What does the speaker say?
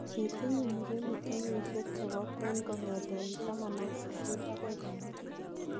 Kitinye mureenik keyisiik chebo kween kogeteen 18 agoi 50.